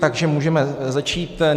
Takže můžeme začít.